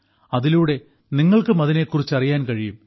അതിലൂടെ നിങ്ങൾക്കും അതിനെക്കുറിച്ച് അറിയാൻ കഴിയും